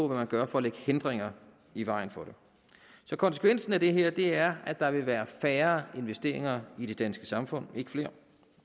man gør for at lægge hindringer i vejen for det konsekvensen af det her er at der vil være færre investeringer i det danske samfund og ikke flere